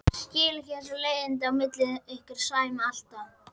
Skil ekki þessi leiðindi á milli ykkar Sæma alltaf.